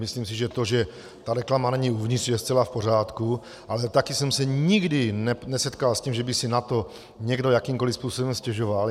Myslím si, že to, že ta reklama není uvnitř, je zcela v pořádku, ale také jsem se nikdy nesetkal s tím, že by si na to někdo jakýmkoliv způsobem stěžoval.